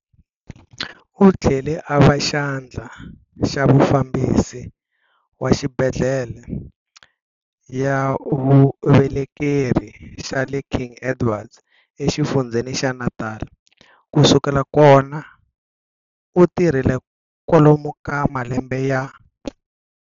Uthlele ava xandla xa mufambisi wa xibhedlel ya vuvelekeri xale King Edwards exifundzeni xa Natala, kusukela kona utirhile kwalomu ka malembe ya.